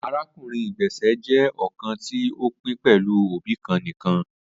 Arakunrin igbesẹ jẹ ọkan ti o pin pẹlu obi kan nikan